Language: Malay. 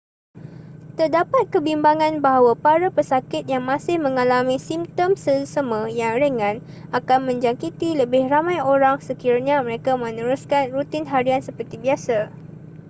terdapat kebimbangan bahawa para pesakit yang masih mengalami simptom selesema yang ringan akan menjangkiti lebih ramai orang sekiranya mereka meneruskan rutin harian seperti biasa